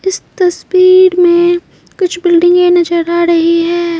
इस तस्वीर में कुछ बिल्डिंगें नजर आ रही है।